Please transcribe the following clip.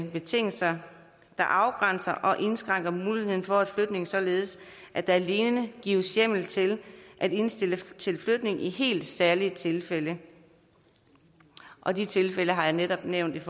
betingelser der afgrænser og indskrænker muligheden for en flytning således at der alene gives hjemmel til at indstille til flytning i helt særlige tilfælde og de tilfælde har jeg netop nævnt